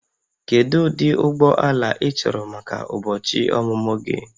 Kedu ụdị ụgbọ ala ị chọrọ maka ụbọchị ọmụmụ gị?